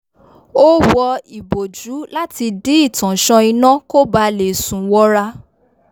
ó wọ ìbòjú láti dí ìtànsán iná kó baà le sùn wọra